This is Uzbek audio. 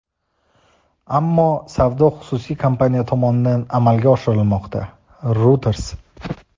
ammo savdo xususiy kompaniya tomonidan amalga oshirilmoqda – "Reuters".